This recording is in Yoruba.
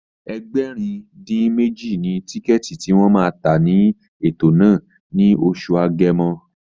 Ẹgbẹ̀rin-dín-méjì ni tíkẹ̀ẹ̀tì tí wọ́n ma tà ní ètò náà ní oṣù Agẹmọ